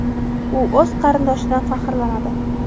U o‘z qarindoshidan faxrlanadi.